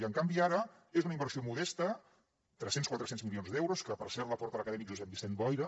i en canvi ara és una inversió modesta tres cents quatre cents milions d’euros que per cert la porta l’acadèmic josep vicent boira